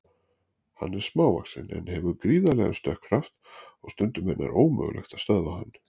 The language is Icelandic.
Hann er smávaxinn en hefur gríðarlegan stökkkraft og stundum er nær ómögulegt að stöðva hann.